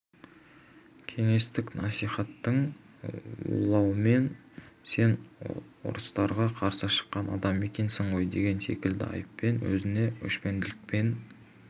кеңестік насихаттың улауымен сен орыстарға қарсы шыққан адам екенсің ғой деген секілді айыппен өзіне өшпенділікпен